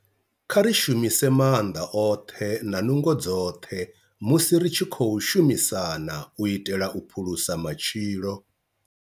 Kha ri shumise maanḓa oṱhe na nungo dzoṱhe musi ri tshi khou shumisana u itela u phulusa matshilo.